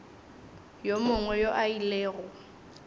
yo mongwe yo a ilego